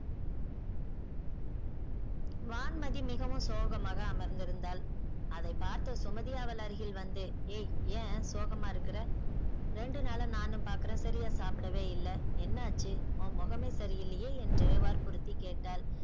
வான்மதி மிகவும் சோகமாக அமர்ந்திருந்தாள் அதை பார்த்த சுமதி அவள் அருகில் வந்து ஏய் ஏன் சோகமா இருக்குற ரெண்டு நாளா நானும் பாக்குறன் சரியா சாப்டவே இல்ல என்ன ஆச்சு உன் முகமே சரி இல்லையே என்று வற்புறுத்தி கேட்டாள்.